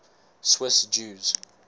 swiss jews